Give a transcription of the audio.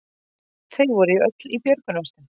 Þau voru öll í björgunarvestum